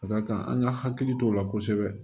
Ka d'a kan an ka hakili t'o la kosɛbɛ